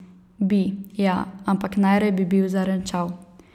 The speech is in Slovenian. Bi, ja, ampak najraje bi bil zarenčal.